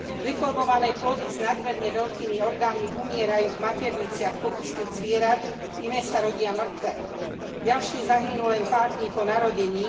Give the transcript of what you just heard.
Deformované plody s nadmerne veľkými orgánmi umierajú v materniciach pokusných zvierat, iné sa rodia mŕtve, ďalšie zahynú len pár dní po narodení.